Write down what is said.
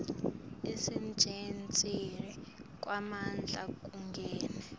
kusetjentiswa kwemandla kungena